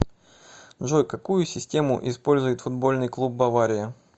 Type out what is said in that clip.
джой какую систему использует футбольный клуб бавария